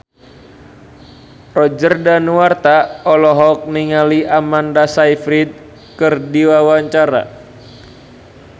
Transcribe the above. Roger Danuarta olohok ningali Amanda Sayfried keur diwawancara